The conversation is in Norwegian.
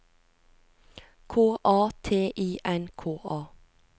K A T I N K A